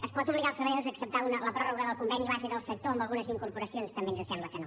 es pot obligar els treballadors a acceptar la pròrroga del conveni base del sector amb algunes incorporacions també ens sembla que no